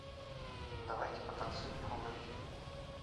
давайте потанцуем фул эйч ди